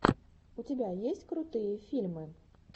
у тебя есть крутые фильмы